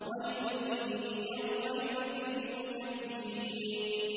وَيْلٌ يَوْمَئِذٍ لِّلْمُكَذِّبِينَ